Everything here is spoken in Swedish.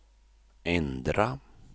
ändra